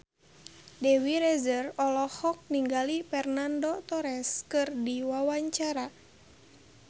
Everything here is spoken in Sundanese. Dewi Rezer olohok ningali Fernando Torres keur diwawancara